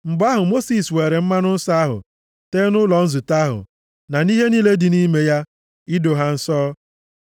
Mgbe ahụ, Mosis weere mmanụ nsọ ahụ tee nʼụlọ nzute ahụ, na nʼihe niile dị nʼime ya, ido ha nsọ.